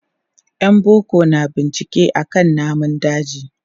Yan boko na bincike akan namun daji.